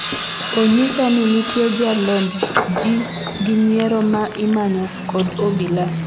"onyisa ni nitie jalomb jii gi nyiero ma imanyo kod obila."